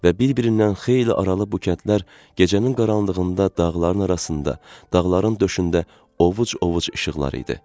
Və bir-birindən xeyli aralı bu kəndlər gecənin qaranlığında dağların arasında, dağların döşündə ovuc-ovuc işıqlar idi.